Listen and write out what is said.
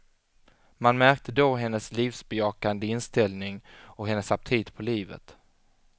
Man märkte då hennes livsbejakande inställning och hennes aptit på livet.